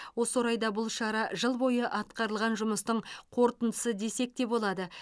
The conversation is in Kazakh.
осы орайда бұл шара жыл бойы атқарылған жұмыстың қорытындысы десек те болады